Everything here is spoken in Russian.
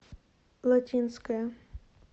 латинская